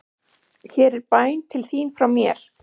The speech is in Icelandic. Hér er bæn til þín frá mér.